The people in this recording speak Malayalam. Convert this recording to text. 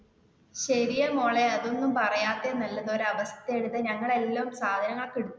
ശെരിയാ മോളെ അതൊന്നും പറയാത്തെ നല്ലത് ഒരു അവസ്ഥേണ് ഇത് ഞങ്ങൾ എല്ലാ സാധനങ്ങൾ ഒക്കെ എടുത്തു വെക്കണേ